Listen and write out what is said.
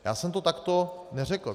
Já jsem to takto neřekl.